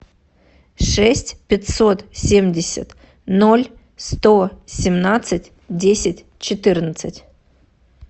шесть пятьсот семьдесят ноль сто семнадцать десять четырнадцать